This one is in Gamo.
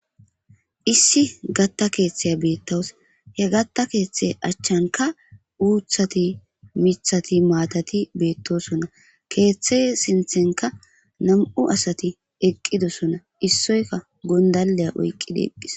issi gatta keeththeya beettaws he gatta keeththe achchanka uuthati mithati maatati beettosonna keeththe sinthenka nam'u asati eqqidosona issoyka gondaleya oyqqidi eqqis